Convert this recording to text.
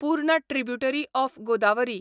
पूर्ण tributary of Godavari